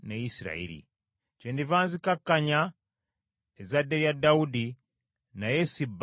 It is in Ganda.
Kyendiva nzikakkanya ezzadde lya Dawudi, naye si bbanga lyonna.’ ”